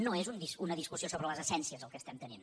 no és una discussió sobre les essències el que tenim